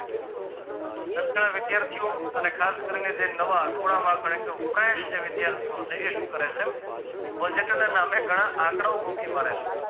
વિદ્યાર્થીઓ અને ખાસ કરી ને જે નવા ખૂણામાં પણ એકદમ fresh જે વિદ્યાર્થીઓ છે એ શું કરે છે budget ના નામે ઘણા આંકડાઓ ગોખી મારે છે